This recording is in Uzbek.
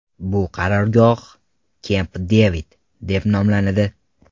Bu qarorgoh Kemp-Devid, deb nomlanadi.